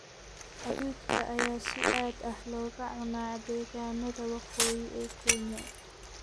Hadhuudhka ayaa si aad ah looga cunaa deegaanada waqooyi ee Kenya.